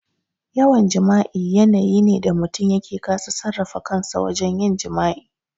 Yawan jima'i yanayi ne da mutum yake kasa sarrafa kansa wajen yin jima'i.